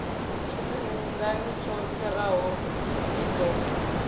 tshifhingani tsho fhiraho i ḓo